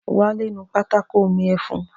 Wálé nu pátákó òní ẹfun